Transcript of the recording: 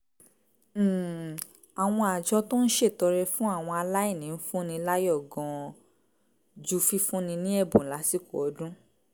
um àwọn àjọ tó ń ṣètọrẹ fún àwọn aláìní ń fúnni láyọ̀ gan-an ju fífúnni ní ẹ̀bùn lásìkò ọdún